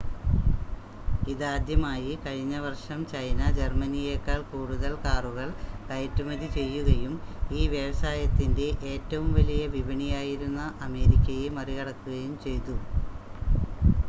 ഇതാദ്യമായി കഴിഞ്ഞ വർഷം ചൈന ജർമ്മനിയേക്കാൾ കൂടുതൽ കാറുകൾ കയറ്റുമതി ചെയ്യുകയും ഈ വ്യവസായത്തിൻ്റെ ഏറ്റവും വലിയ വിപണിയായിരുന്ന അമേരിക്കയെ മറികടക്കുകയും ചെയ്തു